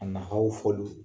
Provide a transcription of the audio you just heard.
A fɔ